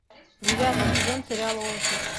девятый сезон сериала офис